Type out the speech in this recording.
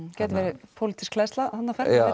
smá pólitísk hleðsla þarna